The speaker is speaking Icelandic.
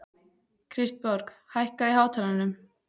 Kristborg, hækkaðu í hátalaranum.